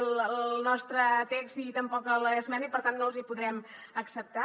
el nostre text i tampoc l’esmena i per tant no els hi podrem acceptar